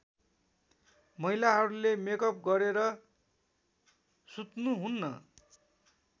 महिलाहरूले मेकअप गरेर सुत्नुहुन्न